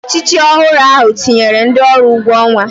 Ọchịchị ọhụrụ ahụ tinyere ndị ọrụ ụgwọ ọnwa